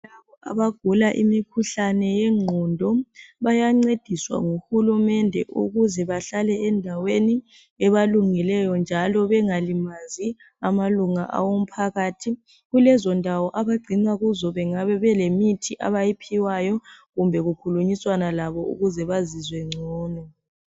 Abagula imikhuhlane yengqondo bayancediswa ngu hulumende ukuze behlale endaweni ebalungeleyo njalo bengalimazi amalunga womphakathi kulezo ndawo abagcinwa kizo bayabe belimithi abayiphiwayo kumbe kukhulunyiswana labo ukuze bazizwe bengcono